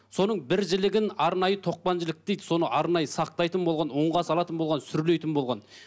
соның бір жілігін арнайы тоқпан жілік дейді соны арнайы сақтайтын болған ұнға салатын болған сүрлейтін болған